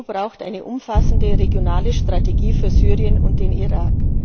Die EU braucht eine umfassende regionale Strategie für Syrien und den Irak.